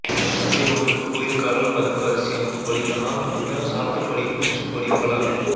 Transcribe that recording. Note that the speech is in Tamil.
சந்தி ஒன்றுக்கு கோயிற் காலால் பதக்கு அரிசி அமுதுபடி தனால் வந்த சாத்துப்படி பூச்சுப்படி பல